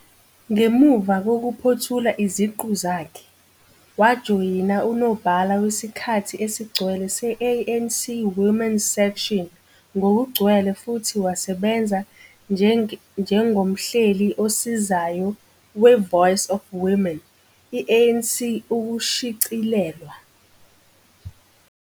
Ngemuva kokuphothula iziqu zakhe, wajoyina unobhala wesikhathi esigcwele se-ANC Women's Section ngokugcwele futhi wasebenza njengomhleli osizayo we-Voice of Women, i-ANC ukushicilelwa.